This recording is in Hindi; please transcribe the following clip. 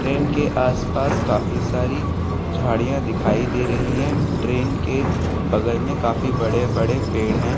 ट्रेन के आस-पास काफी सारी झाड़ियां दिखाई दे रही है ट्रेन के बगल मे काफी बड़े-बड़े पेड़ है।